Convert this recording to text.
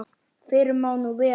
Fyrr má nú vera!